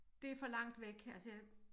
Det for langt væk altså jeg